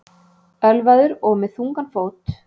Ölvaður og með þungan fót